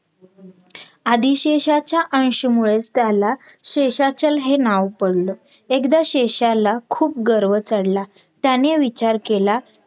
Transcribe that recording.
आदिशेषाच्या अंश मुळेच त्याला शेषाचल हे नाव पडल एकदा शेषाला खूप गर्व चडला. त्याने विचार केला